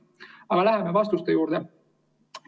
Aga läheme vastuste juurde.